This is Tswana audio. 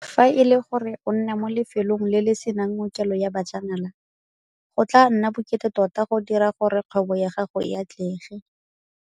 Fa e le gore o nna mo lefelong le le senang ngokelo ya bajanala, go tla nna bokete tota go dira gore kgwebo ya gago e atlege.